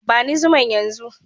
Bani zuman yan zu.